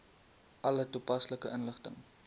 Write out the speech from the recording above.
alle toepaslike inligting